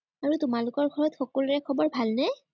আৰু তোমালোকৰ ঘৰত সকলোৰে খবৰ ভালনে?